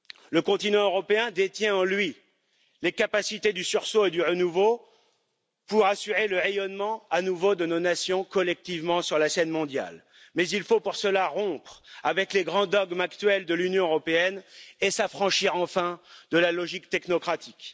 Le continent européen détient en lui les capacités du sursaut et du renouveau pour assurer le rayonnement à nouveau de nos nations, collectivement, sur la scène mondiale. Mais il faut pour cela rompre avec les grands dogmes actuels de l'Union européenne et s'affranchir enfin de la logique technocratique.